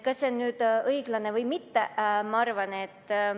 Kas see on õiglane või mitte?